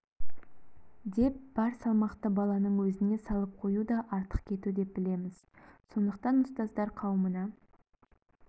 деп бар салмақты баланың өзіне салып қою да артық кету деп білеміз сондықтан ұстаздар қауымына